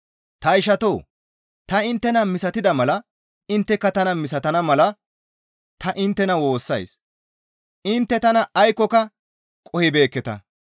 Ta ishatoo! Ta inttena misatida mala intteka tana misatana mala ta inttena woossays; intte tana aykkoka qohibeekketa.